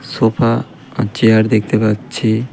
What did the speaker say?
Sofa আর chair দেখতে পাচ্ছি .